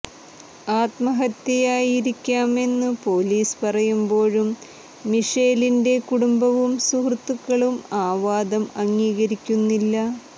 ആത്മഹത്യയായിരിക്കാമെന്നു police പറയുമ്പോഴും മിഷേലിന്റെ കുടുംബവും സുഹൃത്തുക്കളും ആ വാദം അംഗീകരിക്കുന്നില്ല